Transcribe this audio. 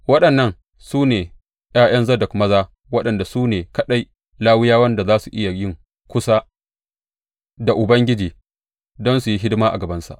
Waɗannan su ne ’ya’yan Zadok maza, waɗanda su ne kaɗai Lawiyawan da za su iya yin kusa da Ubangiji don su yi hidima a gabansa.